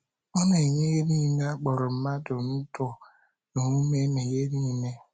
Ọ na - enye ihe nile a kpọrọ mmadụ “ ndụ na ume na ihe nile. ”